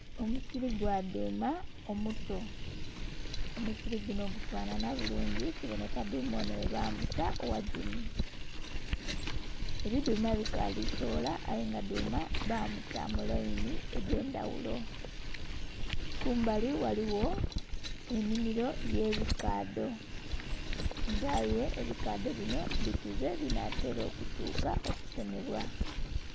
Omusili gwa dhuma omuto omusili gunho gubonheka bulungi kibonheka dhuma onho ghe bamuta ghagimu ebidhuma bukalu soghola aye nga dhuma bamuta mulainhi dha ndhaghulo, kumbali ghaligho enhimiro ye bikadho nga aye ebikadho binho bikuze binhatera okutuka okutemebwa.